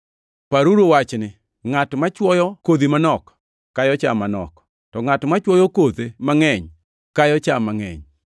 Paruru wachni: Ngʼat mochwoyo kodhi manok kayo cham manok, to ngʼat mochwoyo kothe mangʼeny kayo cham mangʼeny.